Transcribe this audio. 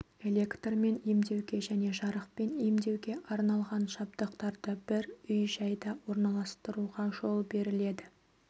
электрмен емдеуге және жарықпен емдеуге арналған жабдықтарды бір үй-жайда орналастыруға жол беріледі